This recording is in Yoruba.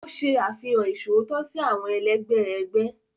O ṣe àfihàn iṣootọ si awọn ẹlẹgbẹ ẹgbẹ.